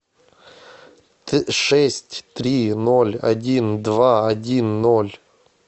шесть три ноль один два один ноль